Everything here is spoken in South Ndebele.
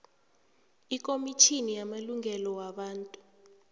ikhomitjhini yamalungelo wabantu